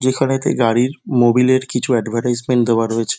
যেইখানে তে গাড়ির মোবিলের কিছু এডভারটিসিমেন্ট দেওয়া রয়েছে ।